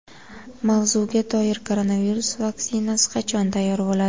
Mavzuga doir: Koronavirus vaksinasi qachon tayyor bo‘ladi?